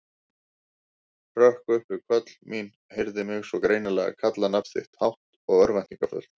Hrökk upp við köll mín, heyrði mig svo greinilega kalla nafn þitt, hátt og örvæntingarfullt.